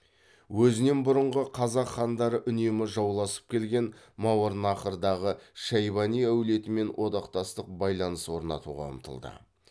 өзінен бұрынғы қазақ хандары үнемі жауласып келген мауараннахрдағы шайбани әулетімен одақтастық байланыс орнатуға ұмтылды